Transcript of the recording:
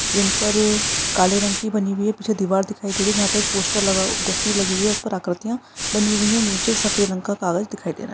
जिन पर काले रंग की बनी हुई है पीछे दीवार दिखाई दे रही है जहाँ पे एक पोस्टर लगा हुआ तस्वीर लगी हुई है उस पर आकृतीया बनी हुई है निछे सफ़ेद रंग का कागज दिखाई दे रहा है।